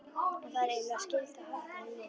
Og það er eiginlega skylda að halda þeim við.